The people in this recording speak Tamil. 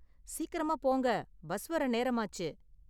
சீக்கிரமா போங்க, பஸ் வர்ற நேரமாச்சு.